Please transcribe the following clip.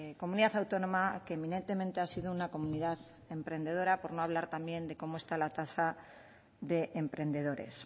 comunidad autónoma que eminentemente ha sido una comunidad emprendedora por no hablar también de cómo está la tasa de emprendedores